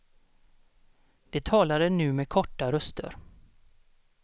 De talade nu med korta röster.